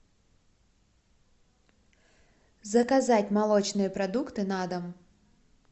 заказать молочные продукты на дом